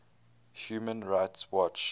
human rights watch